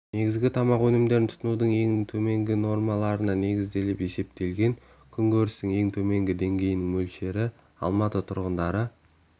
негізгі тамақ өнімдерін тұтынудың ең төменгі нормаларына негізделіп есептелген күнкөрістің ең төменгі деңгейінің мөлшері алматы тұрғындары